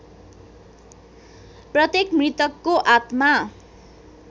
प्रत्येक मृतकको आत्मा